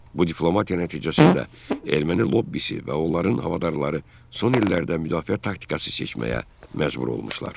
Bu diplomatiya nəticəsində erməni lobbisi və onların havadarları son illərdə müdafiə taktikası seçməyə məcbur olmuşlar.